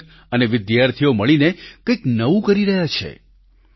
શિક્ષક અને વિદ્યાર્થીઓ મળીને કંઈક નવું કરી રહ્યા છે